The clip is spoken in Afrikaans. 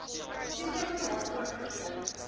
toestemming daarvoor gegee